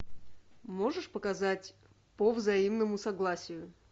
можешь показать по взаимному согласию